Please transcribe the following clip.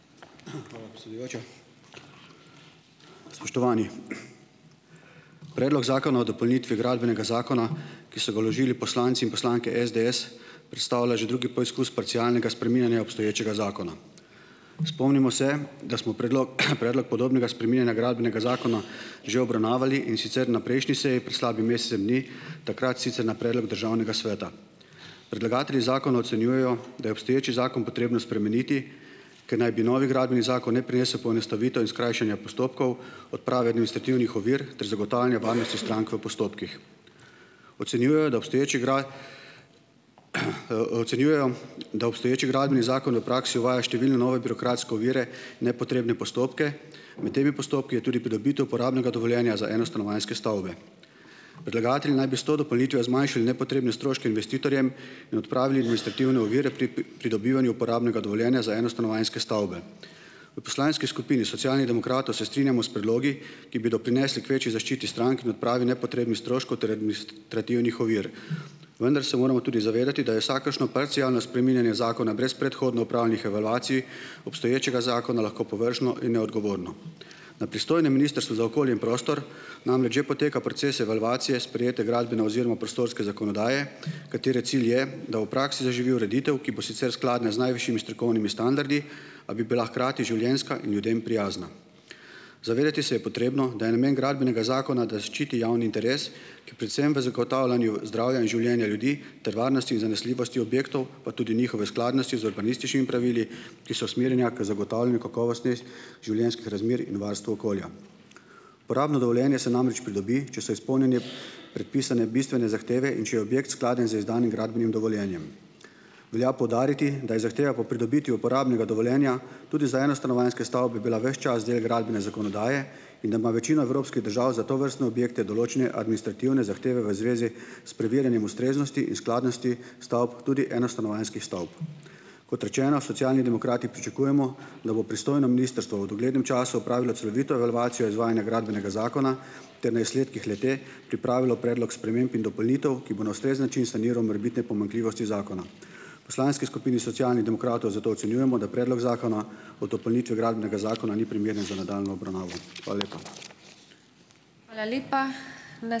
Hvala, predsedujoča. Spoštovani! Predlog zakona o dopolnitvi Gradbenega zakona, ki so ga vložili poslanci in poslanke SDS predstavlja že drugi poizkus parcialnega spreminjanja obstoječega zakona. Spomnimo se, da smo predlog podobnega spreminjanja Gradbenega zakona že obravnavali, in sicer na prejšnji seji, pred slabim ni, takrat sicer na predlog državnega sveta. Predlagatelji zakona ocenjujejo, da je obstoječi zakon potrebno spremeniti, ker naj bi novi gradbeni zakon ne prinesel poenostavitev in skrajšanja postopkov, odprave administrativnih ovir ter zagotavljanje varnosti strank v postopkih. Ocenjujejo, da obstoječi ocenjujejo, da obstoječi Gradbeni zakon v praksi uvaja številne nove birokratske ovire, nepotrebne postopke, med temi postopki je tudi pridobitev uporabnega dovoljenja za enostanovanjske stavbe. Predlagatelji naj bi s to dopolnitvijo zmanjšali nepotrebne stroške investitorjem in odpravili administrativne ovire pri pri pridobivanju uporabnega dovoljenja za enostanovanjske stavbe. V poslanski skupini Socialnih demokratov se strinjamo s predlogi, ki bi doprinesli k večji zaščiti strank in odpravi nepotrebnih stroškov ter trativnih ovir, vendar se moramo tudi zavedati, da je vsakršno parcialno spreminjanje zakona brez predhodno opravljenih evalvacij obstoječega zakona lahko površno in neodgovorno. Na pristojnem Ministrstvu za okolje in prostor namreč že poteka proces evalvacije sprejete gradbene oziroma prostorske zakonodaje, katere cilj je, da v praksi zaživi ureditev, ki bo sicer skladna z najvišjimi strokovnimi standardi, a bi bila hkrati življenjska in ljudem prijazna. Zavedati se je potrebno, da je namen Gradbenega zakona, da ščiti javni interes, ki predvsem v zagotavljanju zdravja in življenja ljudi ter varnosti in zanesljivosti objektov pa tudi njihove skladnosti z urbanističnimi pravili, ki so usmerjena k zagotavljanju kakovosti življenjskih razmer in varstvu okolja. Uporabno dovoljenje se namreč pridobi, če so izpolnjene predpisane bistvene zahteve in če je objekt skladen z izdanim gradbenim dovoljenjem. Velja poudariti, da je zahteva po pridobitvi uporabnega dovoljenja tudi za enostanovanjske stavbe bila ves čas del gradbene zakonodaje in da ima večino evropskih držav za tovrstne objekte določene administrativne zahteve v zvezi s preverjanjem ustreznosti in skladnosti stavb. Tudi enostanovanjskih stavb. Kot rečeno, Socialni demokrati pričakujemo, da bo pristojno ministrstvo v doglednem času opravilo celovito evalvacijo izvajanja gradbenega zakona ter na izsledkih le-te pripravilo predlog sprememb in dopolnitev, ki bo na ustrezen način saniral morebitne pomanjkljivosti zakona. Poslanski skupini Socialnih demokratov zato ocenjujemo, da predlog zakona o dopolnitvi Gradbenega zakona ni primeren za nadaljnjo obravnavo. Hvala lepa.